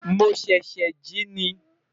mo sese ji ni